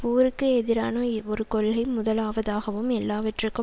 போருக்கு எதிரான ஒரு கொள்கை முதலாவதாகவும் எல்லாவற்றிற்கும்